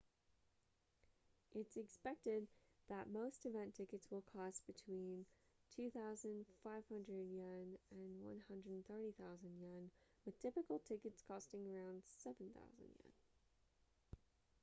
it's expected that most event tickets will cost between ¥2,500 and ¥130,000 with typical tickets costing around ¥7,000